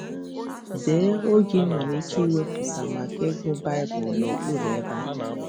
Dee oge i nwere ike iwepụta maka ịgụ Baịbụl n’okpuru ebe a.